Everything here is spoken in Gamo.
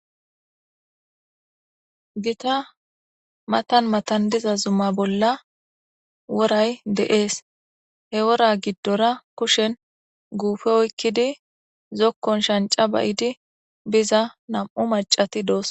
Gitta mattan mattan diza zuma bolla woray de"es he woora gidora kushshen gufe oyikkidi zokon shanca ba"id biza maccati de"etes